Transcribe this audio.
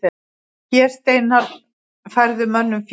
Fésteinar færðu mönnum fé.